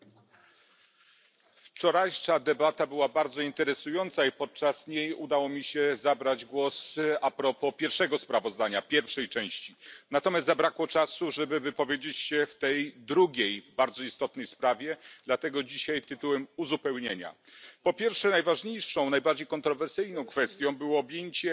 Pani Przewodnicząca! Wczorajsza debata była bardzo interesująca i podczas niej udało mi się zabrać głos propos pierwszego sprawozdania, pierwszej części. Zabrakło natomiast czasu, żeby wypowiedzieć się w tej drugiej bardzo istotnej sprawie, dlatego dzisiaj tytułem uzupełnienia po pierwsze najważniejszą, najbardziej kontrowersyjną kwestią było objęcie